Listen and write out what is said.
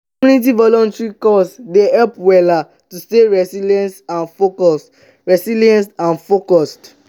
community volunteering cause dey help wella to stay resilience and focused. resilience and focused.